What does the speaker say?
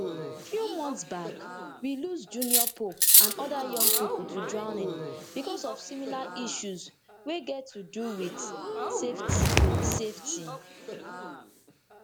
few months back we lose junior pope and oda young pipo to drowning becos of similar issues wey get to do wit safety safety